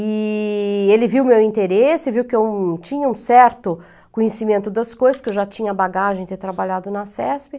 E ele viu o meu interesse, viu que eu tinha um certo conhecimento das coisas, porque eu já tinha bagagem de ter trabalhado na CESP.